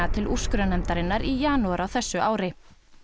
til úrskurðarnefndarinnar í janúar á þessu ári